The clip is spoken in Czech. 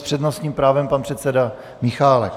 S přednostním právem pan předseda Michálek.